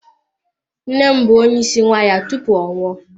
Nne m bụ onye isi kwaya tupu ọ nwụọ.